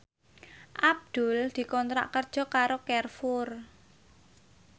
Abdul dikontrak kerja karo Carrefour